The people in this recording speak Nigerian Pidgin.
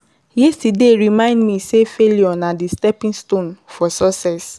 Yesterday remind me say failure na di stepping stone for success.